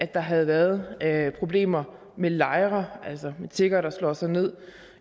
der havde været problemer med lejre altså med tiggere der slår sig ned